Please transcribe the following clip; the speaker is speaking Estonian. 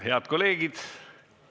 Head kolleegid!